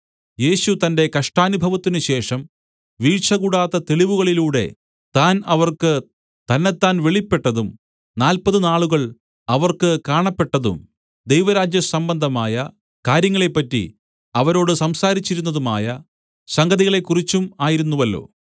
യേശു തന്റെ കഷ്ടാനുഭവത്തിനുശേഷം വീഴ്ചകൂടാത്ത തെളിവുകളിലൂടെ താൻ അവർക്ക് തന്നെത്താൻ വെളിപ്പെട്ടതും നാല്പത് നാളുകൾ അവർക്ക് കാണപ്പെട്ടതും ദൈവരാജ്യ സംബന്ധമായ കാര്യങ്ങളെപ്പറ്റി അവരോട് സംസാരിച്ചിരുന്നതുമായ സംഗതികളെക്കുറിച്ചും ആയിരുന്നുവല്ലോ